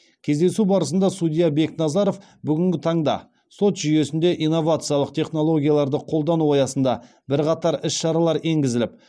кездесу барысында судья бекназаров бүгінгі таңда сот жүйесінде инновациялық технологияларды қолдану аясында бірқатар іс шаралар енгізіліп